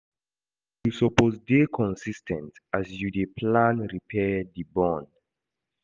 You suppose dey consis ten t as you dey plan repair di bond.